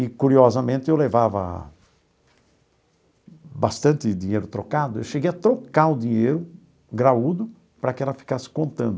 E, curiosamente, eu levava bastante dinheiro trocado, eu cheguei a trocar o dinheiro, graúdo, para que ela ficasse contando.